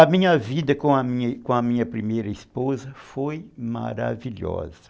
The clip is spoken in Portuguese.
A minha vida com a minha com a minha primeira esposa foi maravilhosa.